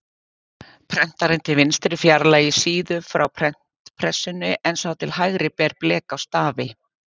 Prentarinn til vinstri fjarlægir síðu frá prentpressunni en sá til hægri ber blek á stafi.